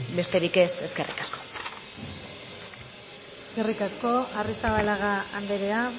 besterik ez eskerrik asko eskerrik asko arrizabalaga andrea